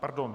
Pardon.